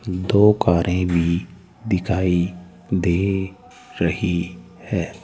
दो कारे भी दिखाई दे रही हैं।